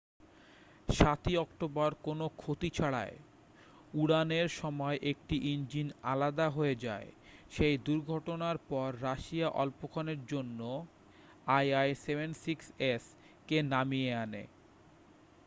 7'ই অক্টোবর কোনও ক্ষতি ছাড়াই উড়ানের সময় একটি ইঞ্জিন আলাদা হয়ে যায়। সেই দুর্ঘটনার পর রাশিয়া অল্পক্ষণের জন্য il-76s কে নামিয়ে আনে।